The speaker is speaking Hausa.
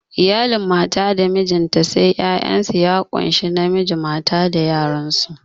Iyalin mata da mijinta sai 'ya'yansu ya kunshi namiji mata da yaransu